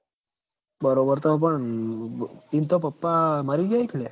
બરોબર તો પણ ઈન તો પપ્પા મરી ગ્યા હી ક લ્યા